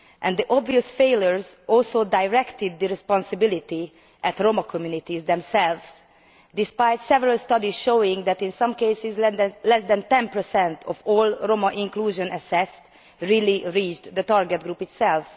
The obvious failures also directed the responsibility at Roma communities themselves, despite several studies showing that in some cases less than 10 of all Roma inclusion assessed really reached the target group itself.